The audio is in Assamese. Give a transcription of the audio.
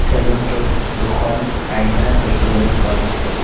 চেলুনটোত দুখন আইনা দেখিবলৈ পোৱা গৈছে।